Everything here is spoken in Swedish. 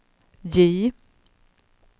J